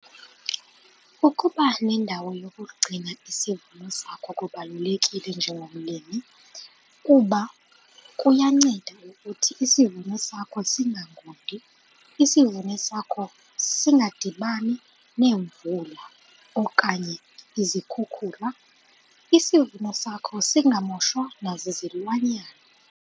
Ukuba nendawo yokugcina isivuno sakho kubalulekile njengomlimi kuba kuyanceda ukuthi isivuno sakho singangundi, isivuno sakho singadibani neemvula okanye izikhukhula, isivuno sakho singamoshwa nazizilwanyana.